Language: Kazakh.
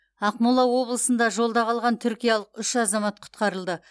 ақмола облысында жолда қалған түркиялық үш азамат құтқарылды